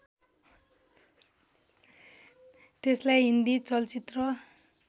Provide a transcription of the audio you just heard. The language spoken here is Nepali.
त्यसलाई हिन्दी चलचित्र